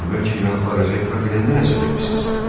Amma bəlkə günahlarınızı etiraf eləyəndə nəsə demisiz?